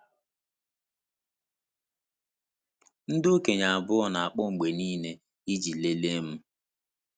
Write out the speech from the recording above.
Ndị okenye abụọ na-akpọ mgbe niile iji lelee m.